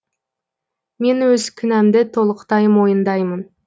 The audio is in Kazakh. мен өз кінәмді толықтай мойындаймын